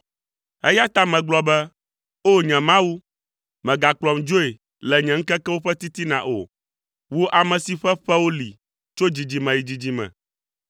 eya ta megblɔ be, “O! Nye Mawu, mègakplɔm dzoe le nye ŋkekewo ƒe titina o, wò ame si ƒe ƒewo li tso dzidzime yi dzidzime.